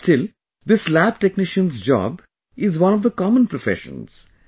But still, this lab technician's job is one of the common professions